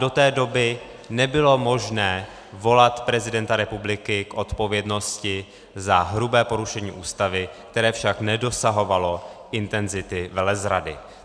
Do té doby nebylo možné volat prezidenta republiky k odpovědnosti za hrubé porušení Ústavy, které však nedosahovalo intenzity velezrady.